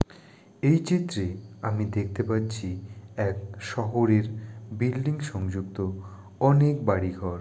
এই চিত্রে আমি দেখতে পাচ্ছি এক শহরের বিল্ডিং সংযুক্ত অনেক বাড়িঘর।